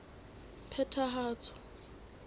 phethahatso